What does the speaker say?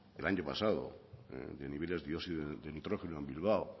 el año pasado de niveles de dióxido de nitrógeno en bilbao